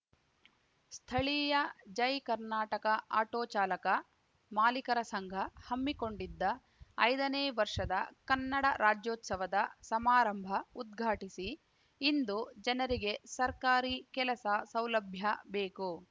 ಸ್ಥಳೀಯ ಜೈ ಕರ್ನಾಟಕ ಆಟೋ ಚಾಲಕ ಮಾಲೀಕರ ಸಂಘ ಹಮ್ಮಿಕೊಂಡಿದ್ದ ಐದನೇ ವರ್ಷದ ಕನ್ನಡ ರಾಜ್ಯೋತ್ಸವದ ಸಮಾರಂಭ ಉದ್ಘಾಟಿಸಿ ಇಂದು ಜನರಿಗೆ ಸರ್ಕಾರಿ ಕೆಲಸ ಸೌಲಭ್ಯ ಬೇಕು